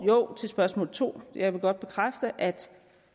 jo til spørgsmål to jeg vil godt bekræfte